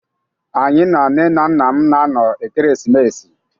Anyị na nne na nna m na-anọ ekeresimesi.